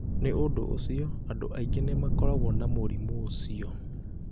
Nĩ ũndũ ũcio, andũ aingĩ nĩ makoragwo na mũrimũ ũcio.